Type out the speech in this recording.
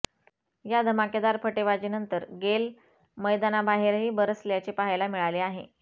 या धमाकेदार फटेबाजीनंतर गेल मैदानाबाहेरही बरसल्याचे पाहायला मिळाले आहे